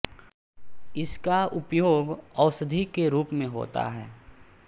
इसका उपयोग औषधि के रूप में होता है